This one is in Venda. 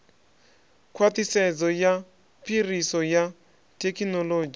khwaṱhisedzo ya phiriso ya thekinolodzhi